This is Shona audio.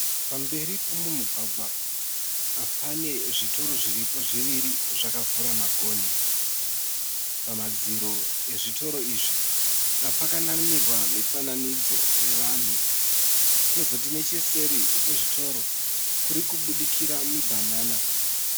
Pamberi poumwe mugwagwa pane zvitoro zviripo zviviri zvakavhura magonhi. Pamadziro ezvitoro izvi pakanamirwa mifananidzo yevanhu. Kozoti necheseri kwezvitoro kurikubudikira mibhanana.